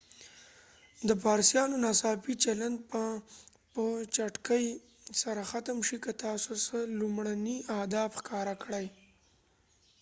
د پاريسيانو ناڅاپي چلند به په چټکۍ سره ختم شي که تاسو څه لومړني آداب ښکاره کړئ